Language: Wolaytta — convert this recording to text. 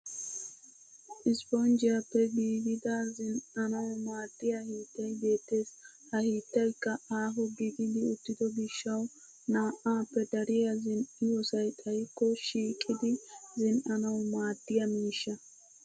Ispponggiyyaappe giigida zin'anwu maaddiya hiittay beettes. Ha hiittaykka aaho gididi uttido gishshawu na'aappe dariya zin'iyoosay xayikko shhiqidi zin'anwu maaddiya miishsha.